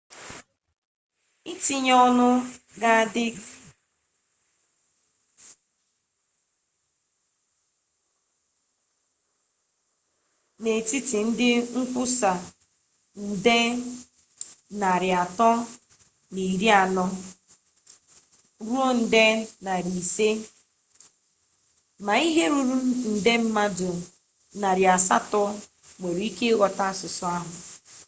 itunye-onu ga adi n'etiti ndi nkwusa nde 340 ruo nde 500 ma ihe ruru nde mmadu 800 nwere ike ighota asusu ahu